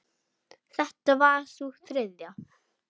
Þetta var sú þriðja.